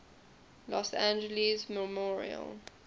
los angeles memorial